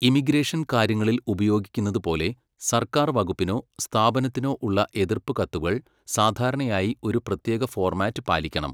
Immigration കാര്യങ്ങളിൽ ഉപയോഗിക്കുന്നത് പോലെ സർക്കാർ വകുപ്പിനോ സ്ഥാപനത്തിനോ ഉള്ള എതിർപ്പ് കത്തുകൾ സാധാരണയായി ഒരു പ്രത്യേക ഫോർമാറ്റ് പാലിക്കണം.